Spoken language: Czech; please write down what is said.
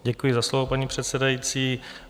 Děkuji za slovo, paní předsedající.